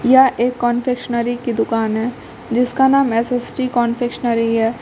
यह एक कन्फेक्शनरी की दुकान है जिसका नाम एस_एस_डी कन्फेक्शनरी है।